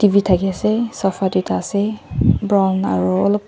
etu thake ase sofa doi ta ase brown aru alop--